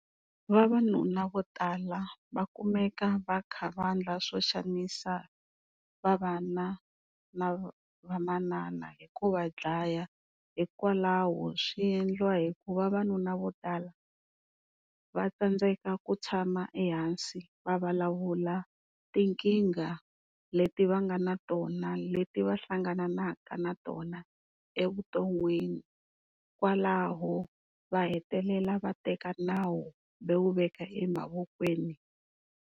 Vavanuna vo tala va kumeka va kha va endla swo xanisa na va manana hi ku va dlaya hikwalaho swi endliwa hi ku vavanuna vo tala va tsandzeka ku tshama ehansi va vulavula tinkingha leti va nga na tona leti va hlangananaka na tona evuton'wini kwalaho va hetelela va teka nawu va wu veka emavokweni.